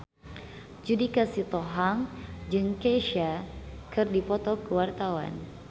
Judika Sitohang jeung Kesha keur dipoto ku wartawan